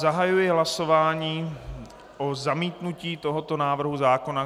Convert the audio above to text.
Zahajuji hlasování o zamítnutí tohoto návrhu zákona.